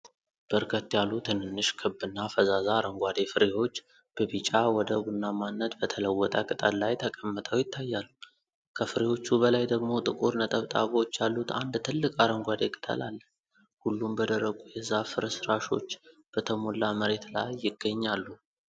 በርከት ያሉ ትንንሽ ክብና ፈዛዛ አረንጓዴ ፍሬዎች በቢጫ ወደ ቡናማነት በተለወጠ ቅጠል ላይ ተቀምጠው ይታያሉ። ከፍሬዎቹ በላይ ደግሞ ጥቁር ነጠብጣቦች ያሉት አንድ ትልቅ አረንጓዴ ቅጠል አለ። ሁሉም በደረቁ የዛፍ ፍርስራሾች በተሞላ መሬት ላይ ይገኛሉ።